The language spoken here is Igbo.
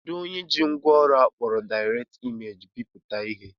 Kedụ onye ji ngwaọrụ akpọrọ Direct Image bipụta ihe?